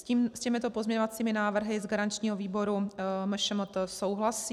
S těmito pozměňovacími návrhy z garančního výboru MŠMT souhlasí.